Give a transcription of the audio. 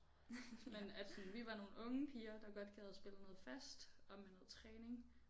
Men at sådan vi var nogle unge piger der godt gad spille noget fast og med noget træning